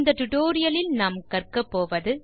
டுடோரியலின் முடிவில் உங்களால் செய்ய முடிவது